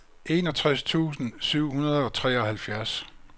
enogtres tusind syv hundrede og treoghalvfjerds